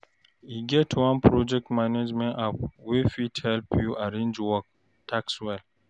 E get one project management app wey fit help you arrange work tasks well.